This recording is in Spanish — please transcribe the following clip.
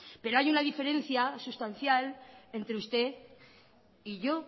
pero hay una diferencia sustancial entre usted y yo